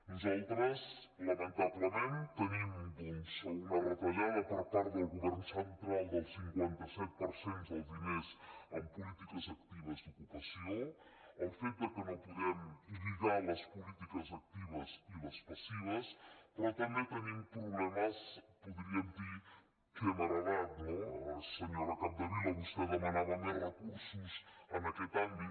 nosaltres lamentablement tenim una retallada per part del govern central del cinquanta set per cent dels diners en polítiques actives d’ocupació el fet que no podem lligar les polítiques actives i les passives però també tenim problemes podríem dir que hem heretat no senyora capdevila vostè demanava més recursos en aquest àmbit